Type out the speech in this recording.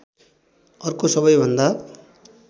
अर्को सबैभन्दा